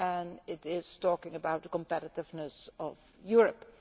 We are talking about the competitiveness of Europe.